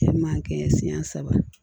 E ma kɛɲɛ siɲɛ saba